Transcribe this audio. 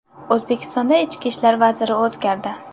O‘zbekistonda ichki ishlar vaziri o‘zgardi .